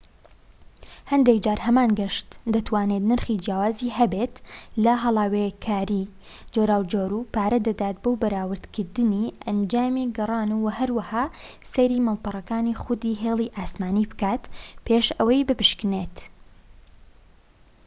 هەندێک جار هەمان گەشت دەتوانێت نرخی جیاوازی هەبێت لە هەڵاوێکاری جۆراوجۆر و پارە دەدات بۆ بەراوردکردنی ئەنجامی گەڕان و هەروەها سەیری ماڵپەڕەکانی خودی هێڵی ئاسمانی بکات پێش ئەوەی بپشکنێت